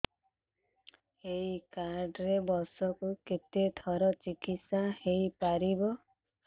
ଏଇ କାର୍ଡ ରେ ବର୍ଷକୁ କେତେ ଥର ଚିକିତ୍ସା ହେଇପାରିବ